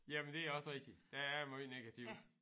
Jamen det er også rigtigt der er måj negativt